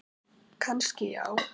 Kannski já.